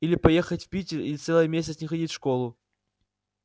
или поехать в питер и целый месяц не ходить в школу